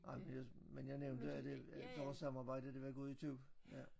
Ej men jeg men jeg nævnte at øh at vores samarbejde det var gået itu ja